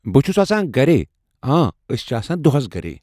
بہٕ چھس آسان گرے۔ آں أسۍ چھ آسان دۄہس گرے